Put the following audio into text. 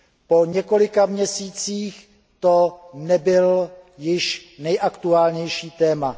Po několika měsících to nebylo již nejaktuálnější téma.